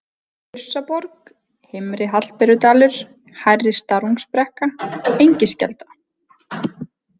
Þursaborg, Heimri-Hallberudalur, Hærri-Starungsbrekka, Engiskelda